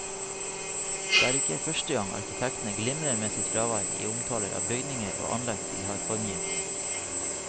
Det er ikke første gang arkitektene glimrer med sitt fravær i omtaler av bygninger og anlegg de har formgitt.